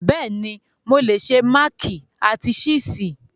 Bẹ́ẹ̀ni, mo lè se máàkì àti ṣíìsì.